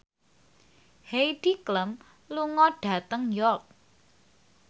Heidi Klum lunga dhateng York